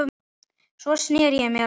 Sneri sér svo að mér.